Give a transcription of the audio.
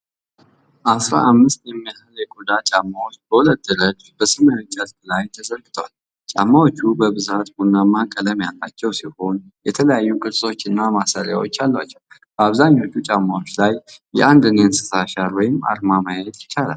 አሥራ አምስት የሚያህሉ የቆዳ ጫማዎች በሁለት ረድፍ በሰማያዊ ጨርቅ ላይ ተዘርግተዋል። ጫማዎቹ በብዛት ቡናማ ቀለም ያላቸው ሲሆን፥ የተለያዩ ቅርጾችና ማሰሪያዎች አሏቸው፤ በአብዛኞቹ ጫማዎች ላይ የአንድን የእንስሳ አሻራ ወይም አርማ ማየት ይቻላል።